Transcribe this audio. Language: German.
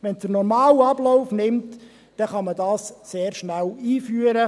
Wenn es den normalen Ablauf nimmt, kann man es sehr schnell einführen.